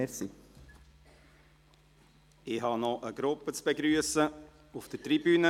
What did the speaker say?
Ich habe noch eine Gruppe auf der Tribüne zu begrüssen.